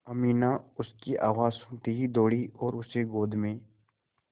अमीना उसकी आवाज़ सुनते ही दौड़ी और उसे गोद में